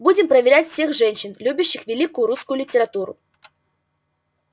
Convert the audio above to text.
будем проверять всех женщин любящих великую русскую литературу